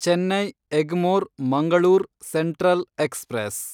Chennai Egmore Mangalore central express